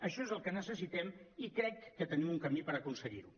això és el que necessitem i crec que tenim un camí per aconseguir ho